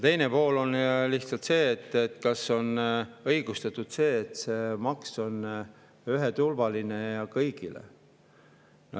Teine pool on see, et kas on õigustatud, et see maks on ühe ja kõigile.